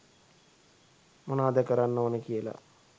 මොනාද කරන්න ඕන කියලා